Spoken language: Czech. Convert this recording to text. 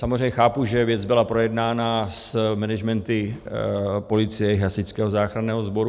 Samozřejmě chápu, že věc byla projednána s managementy policie i Hasičského záchranného sboru.